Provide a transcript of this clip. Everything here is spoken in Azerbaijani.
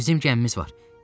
Bizim gəmimiz var.